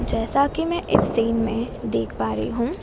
जैसा कि मैं एक सीन में देख पा रही हूं।